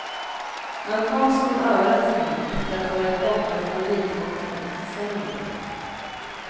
Han kom som en överraskning efter att ha varit borta från elithockeyn ett decennium.